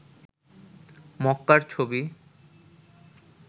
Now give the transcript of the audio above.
মক্কার ছবি